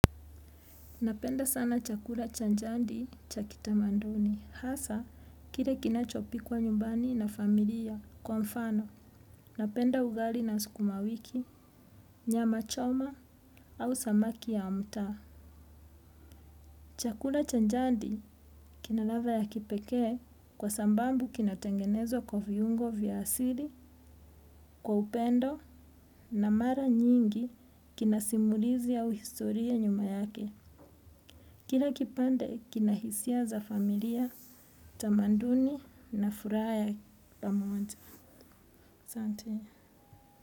Napenda sana chakula cha jandi cha kitamanduni. Hasa, kile kinachopikwa nyumbani na familia kwa mfano. Napenda ugali na sukumawiki, nyama choma au samaki ya mtaa. Chakula cha jadi kina ladha ya kipekee kwa sababu kinatengenezwa kwa viungo vya asili, kwa upendo na mara nyingi kinasimulizi au historia nyuma yake. Kila kipande kina hisia za familia, tamanduni na furaha ya pamojaasante.